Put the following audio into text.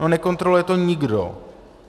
No nekontroluje to nikdo.